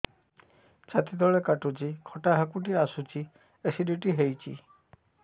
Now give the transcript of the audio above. ଛାତି ତଳେ କାଟୁଚି ଖଟା ହାକୁଟି ଆସୁଚି ଏସିଡିଟି ହେଇଚି